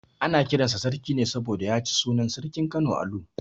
Ana kiran sa Sarki ne saboda ya ci sunan sarkin Kano Alu.